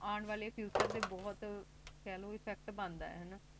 ਆਉਣ ਵਾਲੇ Future ਤੇ ਬਹੁਤ ਕਹਿਲੋ Effect ਬੰਦਾ